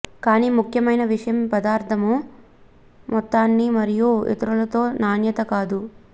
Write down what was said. కానీ ముఖ్యమైన విషయం పదార్థము మొత్తాన్ని మరియు ఇతరులతో నాణ్యత కాదు